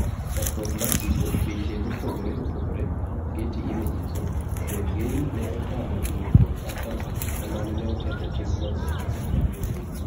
Chakruok mar tipo, piche mopogore opogore(getty images) Sergei ne otam wuotho kata kamano ne oketho chikno nyadiriyo